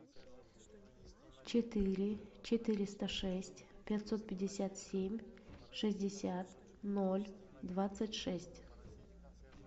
четыре четыреста шесть пятьсот пятьдесят семь шестьдесят ноль двадцать шесть